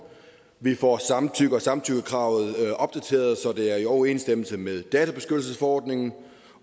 vi får samtidig kravet opdateret så det er i overensstemmelse med databeskyttelsesordningen